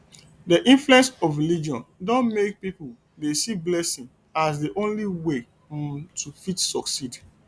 di influence of religion don make pipo dey see blessing as di only way um to fit succeed